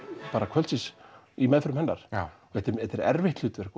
kvöldsins í meðförum hennar þetta er þetta er erfitt hlutverk